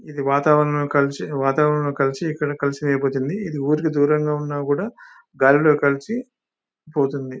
ఇది వాతావరణం కలిసి వాతావరణం కలిసి ఇక్కడ కలుషితం అయిపోతుంది ఇది ఊరికి దూరంగా ఉన్నా కూడా గాలిలో కలిసి పోతుంది